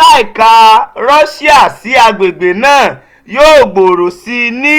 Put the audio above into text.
láìka rọ́ṣíà sí àgbègbè náà yóò gbòòrò sí i ní